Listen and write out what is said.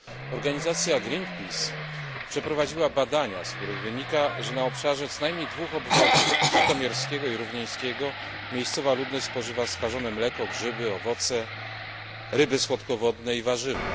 Organizacja Greenpeace przeprowadziła badania, z których wynika, że na obszarze co najmniej dwóch obwodów żytomierskiego i równieńskiego, miejscowa ludność spożywa skażone mleko, grzyby, owoce, ryby słodkowodne i warzywa.